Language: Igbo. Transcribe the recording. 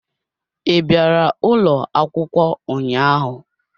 I bịara ụlọ akwụkwọ ụnyaahụ?